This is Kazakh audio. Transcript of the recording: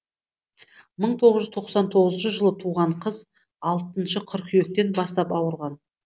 мың тоғыз жүз тоқсан тоғызыншы жылы туған қыз алтыншы қыркүйектен бастап ауырған